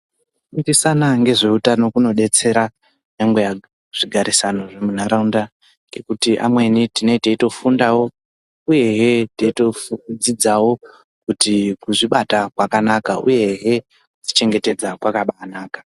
Kufundisana ngezveutano kunodetsera nyangwe nezvigarisano munharaunda ngekuti amweni tinenge teitofunda uyehe teitodzidzawo kuti kuzvibata kwakanaka uyehe kuzvichengetedza kwakaba anaka.